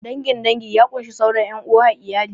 Dangin dangi ya kunshi sauran ƴan uwa a iyali